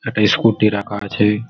একটা স্কুটি রাখা আছে।